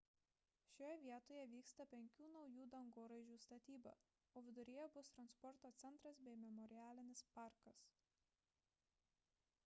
šioje vietoje vyksta penkių naujų dangoraižių statyba o viduryje bus transporto centras bei memorialinis parkas